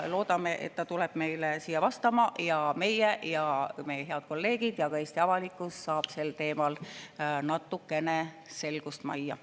Loodame, et ta tuleb meile siia vastama ja meie ja meie head kolleegid ja ka Eesti avalikkus saab sel teemal natukene selgust majja.